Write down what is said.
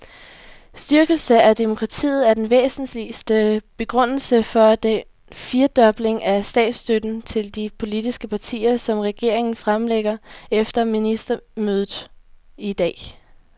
Styrkelse af demokratiet er den væsentligste begrundelse for den firedobling af statsstøtten til de politiske partier, som regeringen fremlægger efter ministermødet i dag.